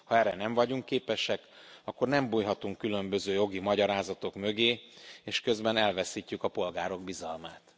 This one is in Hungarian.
Ha erre nem vagyunk képesek, akkor nem bújhatunk különböző jogi magyarázatok mögé és közben elveszítjük a polgárok bizalmát.